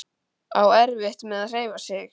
Á erfitt með að hreyfa sig.